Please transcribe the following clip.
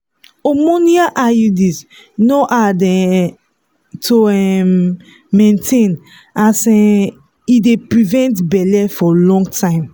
hormonal iuds no hard um to um maintain as um e dey prevent belle for long time.